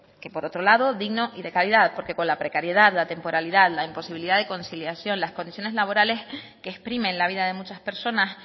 que por otro lado digno y de calidad porque con la precariedad la temporalidad la imposibilidad de conciliación las condiciones laborales que exprimen la vida de muchas personas